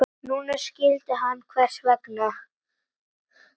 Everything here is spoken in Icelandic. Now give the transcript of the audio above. Núna skildi hann hvers vegna.